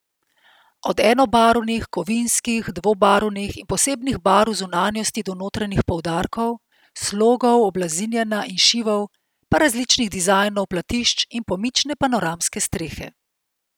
Od enobarvnih, kovinskih, dvobarvnih in posebnih barv zunanjosti do notranjih poudarkov, slogov oblazinjenja in šivov, pa različnih dizajnov platišč in pomične panoramske strehe.